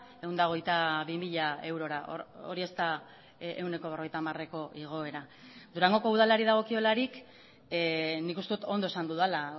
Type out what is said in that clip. ehun eta hogeita bi mila eurora hori ez da ehuneko berrogeita hamareko igoera durangoko udalari dagokiolarik nik uste dut ondo esan dudala